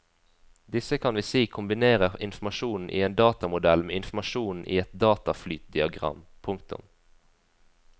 Disse kan vi si kombinerer informasjonen i en datamodell med informasjonen i et dataflytdiagram. punktum